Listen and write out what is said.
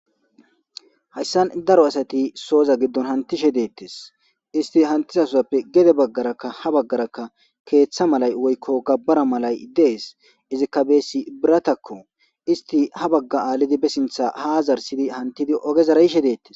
hayssan daro asati sooza giddon hantishe deettes isti hantisasuzappe gede baggarakka ha baggaraka keeththa malay woykko gabbara malay dees izikka beesi biratakko isti ha bagga aalidi besintha haazarsidi hantidi ogezara yishe deettes